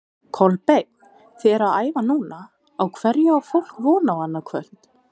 Kolbeinn, þið eruð að æfa núna, á hverju á fólk von á annað kvöld?